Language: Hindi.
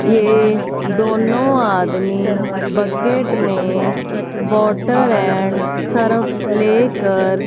ये दोनों आदमी बकेट में वाटर एंड सर्फ लेकर--